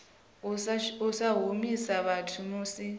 u sa humisa vhathu musi